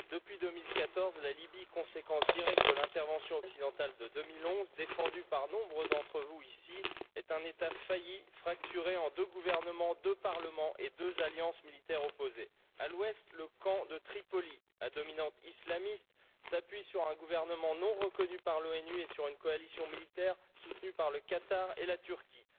Monsieur le Président, depuis 2014, la Libye conséquence directe de l'intervention occidentale de 2011, défendue par nombre d'entre vous ici est un État failli, fracturé en deux gouvernements, deux parlements et deux alliances militaires opposés. À l'ouest, le camp de Tripoli, à dominante islamiste, s'appuie sur un gouvernement non reconnu par l'ONU et sur une coalition militaire soutenue par le Qatar et la Turquie.